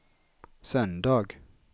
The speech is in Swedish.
söndag